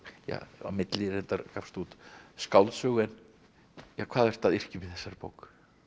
á milli reyndar gafstu út skáldsögu hvað ertu að yrkja um í þessari bók